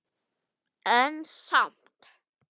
En samt